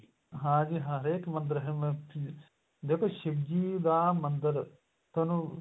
ਹਾਂਜੀ ਹਾਂ ਹਰੇਕ ਮੰਦਰ ਅਹ ਦੇਖੋ ਸ਼ਿਵ ਜੀ ਦਾ ਮੰਦਰ ਤੁਹਾਨੂੰ